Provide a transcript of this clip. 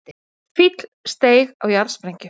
Fíll steig á jarðsprengju